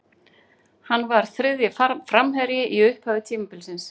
Hann var þriðji framherji í upphafi tímabilsins.